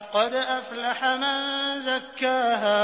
قَدْ أَفْلَحَ مَن زَكَّاهَا